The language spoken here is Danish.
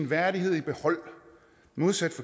værdighed i behold modsat